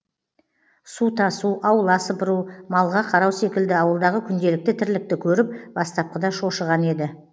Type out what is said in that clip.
су тасу аула сыпыру малға қарау секілді ауылдағы күнделікті тірлікті көріп бастапқыда шошыған еді